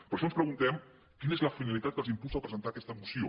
per això ens preguntem quina és la finalitat que els impulsa a presentar aquesta moció